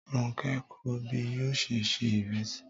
Ronke ń kọ́ bí yóò ṣe ṣe ìrẹsì.